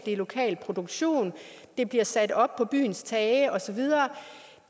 en lokal produktion de bliver sat op på byens tage og så videre